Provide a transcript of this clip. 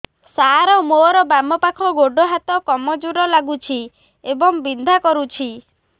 ସାର ମୋର ବାମ ପାଖ ଗୋଡ ହାତ କମଜୁର ଲାଗୁଛି ଏବଂ ବିନ୍ଧା କରୁଛି